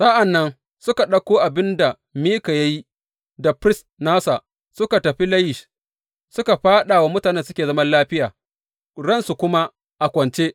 Sa’an nan suka ɗauko abin da Mika ya yi, da firist nasa, suka tafi Layish, suka fāɗa wa mutanen da suke zaman lafiya, ransu kuma a kwance.